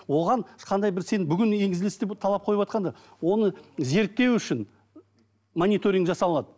оған ешқандай бір сен бүгін талап қойыватқанда оны зерттеу үшін мониторинг жасалынады